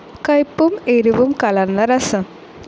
കയ്പും എരിവും കലർന്ന രസം.